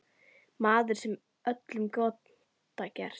Maður sem vill öllum gott gera.